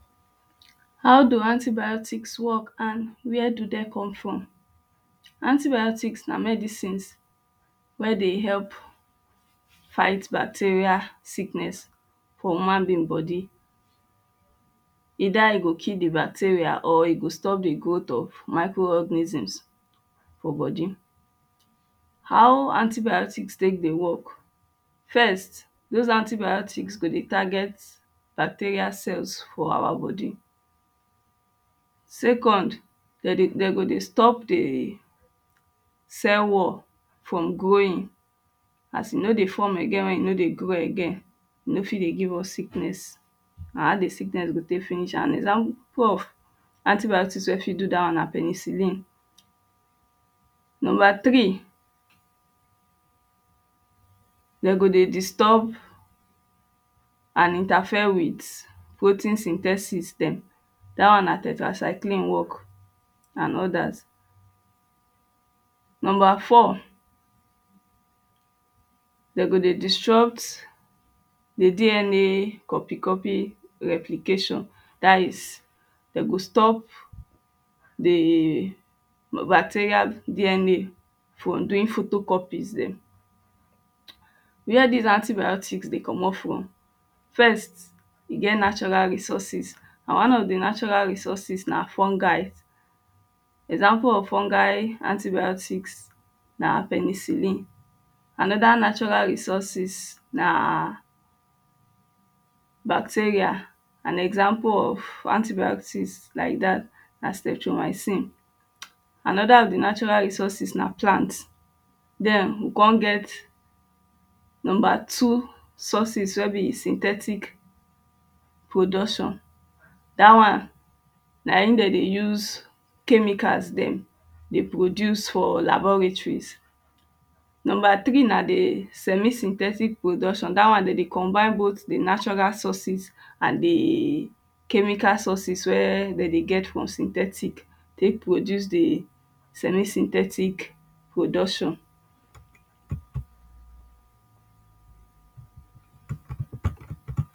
How do antibiotics work and where do dey come from. Antibiotics na medicines wey dey help fight bacteria sickness for human being body either e go kill the bacteria or e go stop de growth of microorganisms for body How antibiotics tek dey work first those antibiotics go dey target bacteria cells for our body second dem dey dem go dey stop de cell wall from growing as e no dey form again when e no dey grow again e no fit dey give us sickness na how the sickness go take finish and example of antibiotics wey fit do that one na penicillin Number three dem go dey disturb and interfere with protein synthesis dem that one na tetracycline work and others Number four dey go dey disrupt the DNA copy copy replication that is dem go stop d bacteria DNA from doing photocopies dem. Where this antibiotics dey comot from first e get natural resources an one of de natural resources na fungi example of fungi antibiotics na penicillin another natural resources na bacteria an example of antibiotics like dat na streptomycin anoda of de natural resources na plant then we come get number two sources wey be synthetic production dat one na him dem dey use chemical dem dey produce for laboratories Number three na de semi synthetic production that one dem dey combine both de natural sources and the chemical sources wey dem dey get from synthetic tek produce de semi synthetic production.